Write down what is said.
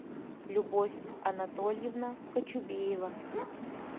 любовь анатольевна кочубеева